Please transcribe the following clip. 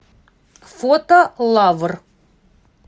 фото лавр